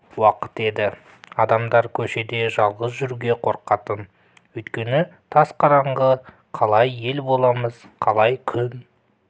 уақыт еді адамдар көшеде жалғыз жүруге қорқатын өйткені тас қараңғы қалай ел боламыз қалай күн